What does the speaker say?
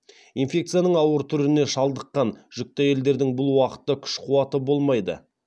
инфекцияның ауыр түріне шалдыққан жүкті әйелдердің бұл уақытта күш қуаты болмайды